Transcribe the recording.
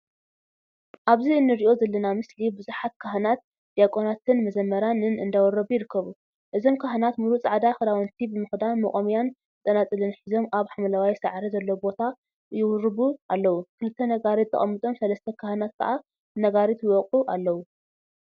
አብዚ እንሪኦ ዘለና ምስሊ ብዙሓት ካህናት፣ ድያቆናትን መዘምራንን እንዳወረቡ ይርከቡ፡፡ እዞም ካህናት ሙሉእ ፃዕዳ ክዳውንቲ ብምክዳን መቆምያን ፀናፅልን ሒዞም አብ ሓምለዋይ ሳዕሪ ዘለዎ ቦታ ይዉሩቡ አለው፡፡ ክልተ ነጋሪት ተቀሚጦም ሰለስተ ካህናት ከዓ ነጋሪት ይወቅዑ አለው፡፡